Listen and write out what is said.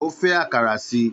Ó fẹ́ àkàrà síi